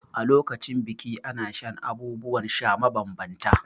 A lokacin biki ana shan abubuwan sha mabambanta.